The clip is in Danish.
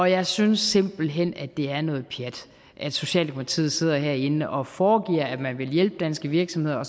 jeg synes simpelt hen at det er noget pjat at socialdemokratiet sidder herinde og foregiver at man vil hjælpe danske virksomheder